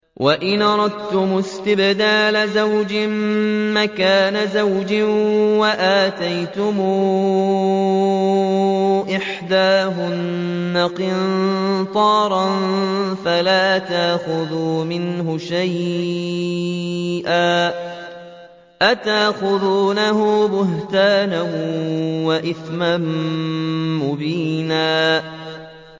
وَإِنْ أَرَدتُّمُ اسْتِبْدَالَ زَوْجٍ مَّكَانَ زَوْجٍ وَآتَيْتُمْ إِحْدَاهُنَّ قِنطَارًا فَلَا تَأْخُذُوا مِنْهُ شَيْئًا ۚ أَتَأْخُذُونَهُ بُهْتَانًا وَإِثْمًا مُّبِينًا